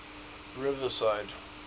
riverside